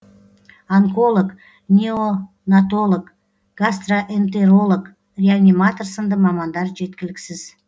онколог неонатолог гастроэнтеролог реаниматор сынды мамандар жеткіліксіз